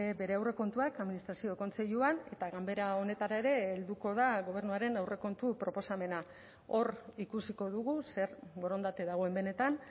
bere aurrekontuak administrazio kontseiluan eta ganbera honetara ere helduko da gobernuaren aurrekontu proposamena hor ikusiko dugu zer borondate dagoen benetan